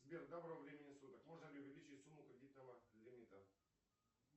сбер доброго времени суток можно ли увеличить сумму кредитного лимита